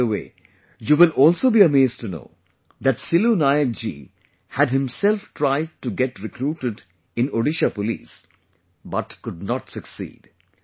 By the way, you will also be amazed to know that Silu Nayak ji had himself tried to get recruited in Odisha Police but could not succeed